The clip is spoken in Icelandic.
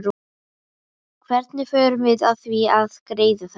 Hvernig förum við að því að greiða þetta?